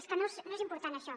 és que no és important això